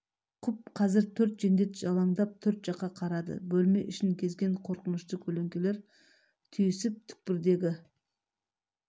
құп қазір төрт жендет жалаңдап төрт жаққа қарады бөлме ішін кезген қорқынышты көлеңкелер түйісіп түкпірдегі